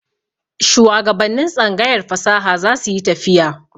Shuwagabannin tsangayar fasaha za su yi tafiya.